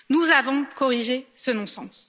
Nous avons corrigé ce non sens.